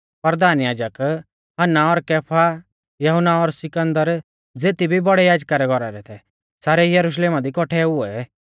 परधान याजक हन्ना और कैफा यहुन्ना और सिकन्दर ज़ेती भी बौड़ै याजका रै घौरा रै थै सारै यरुशलेमा दी कौट्ठै हुऐ